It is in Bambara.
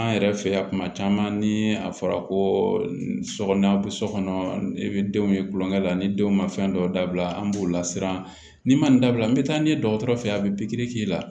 An yɛrɛ fɛ yan kuma caman ni a fɔra ko so kɔnɔ aw bɛ so kɔnɔ i bɛ denw ye tulonkɛ la ni denw ma fɛn dɔw dabila an b'u lasiran ni man nin dabila n bɛ taa n'i ye dɔgɔtɔrɔ fe ye a bɛ pikiri k'i la